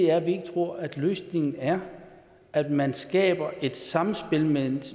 er at vi ikke tror at løsningen er at man skaber et samspil mellem